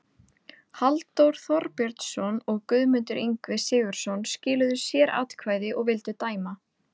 Halldór Þorbjörnsson og Guðmundur Ingvi Sigurðsson skiluðu sératkvæði og vildu dæma